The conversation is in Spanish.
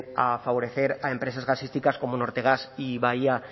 a favorecer a empresas gasísticas como nortegas y bahía